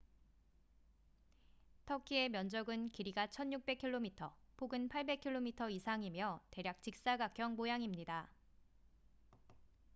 터키의 면적은 길이가 1,600km 폭은 800km 이상이며 대략 직사각형 모양입니다